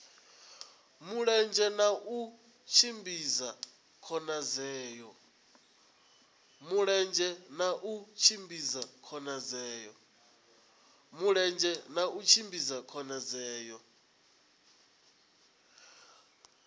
mulenzhe na u tshimbidza khonadzeo